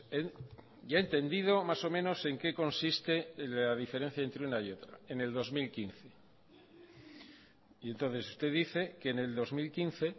él ya ha entendido más o menos en qué consiste la diferencia entre una y otra en el dos mil quince y entonces usted dice que en el dos mil quince